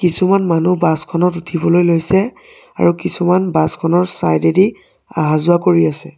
কিছুমান মানুহ বাছ খনত উঠিবলৈ লৈছে আৰু কিছুমান বাছ খনৰ চাইড এদি আহা-যোৱা কৰি আছে।